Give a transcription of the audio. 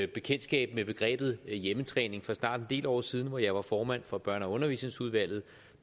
bekendtskab med begrebet hjemmetræning for snart en del år siden hvor jeg var formand for børne og undervisningsudvalget